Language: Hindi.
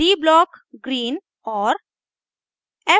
d blockgreen और